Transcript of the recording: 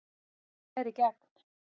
Slær í gegn